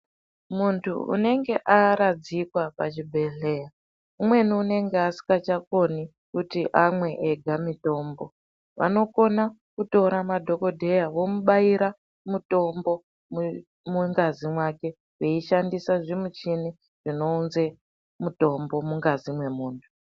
Muntu unenge aradzikwa pachibhehlera amweni unenge usisagoni kunwa mitombo ega anogone kutore madhokodheya omubaira veishandise zvimuchini zvinounze ngazi mukati mwemuntu.